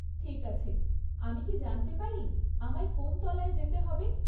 ঠিক আছে, আমি কি জানতে পারি আমায় কোন তলায় যেতে হবে?